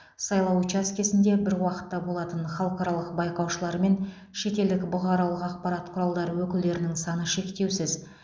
сайлау учаскесінде бір уақытта болатын халықаралық байқаушылар мен шетелдік бұқаралық ақпарат құралдары өкілдерінің саны шектеусіз